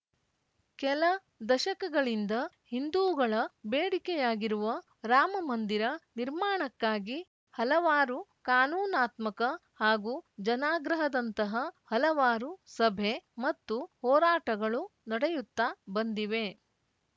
ಕೆಲ ದಶಕಗಳಿಂದ ಹಿಂದೂಗಳ ಬೇಡಿಕೆಯಾಗಿರುವ ರಾಮ ಮಂದಿರ ನಿರ್ಮಾಣಕ್ಕಾಗಿ ಹಲವಾರು ಕಾನೂನಾತ್ಮಕ ಹಾಗೂ ಜನಾಗ್ರಹದಂತಹ ಹಲವಾರು ಸಭೆ ಮತ್ತು ಹೋರಾಟಗಳು ನಡೆಯುತ್ತಾ ಬಂದಿವೆ